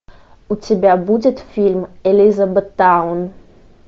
у тебя будет фильм элизабеттаун